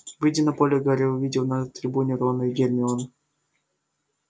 выйдя на поле гарри увидел на трибуне рона и гермиону